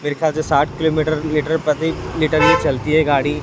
मेरे ख्याल से साठ किलो मीटर लीटर प्रति लीटर ये चलती है गाड़ी--